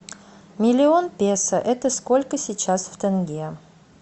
миллион песо это сколько сейчас в тенге